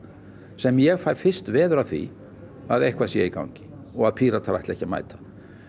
sem ég fæ fyrst veður af því að eitthvað sé í gangi og að Píratar ætli ekki að mæta